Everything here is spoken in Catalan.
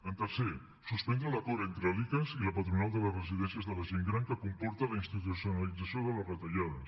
el tercer suspendre l’acord entre l’icass i la patronal de les residències de la gent gran que comporta la institucionalització de les retallades